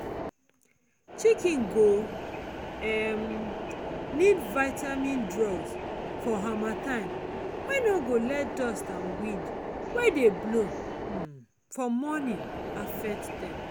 chiken go um need vitamin drug for harmattan wey no go let dust and wind wey dey blow um for morning affect them.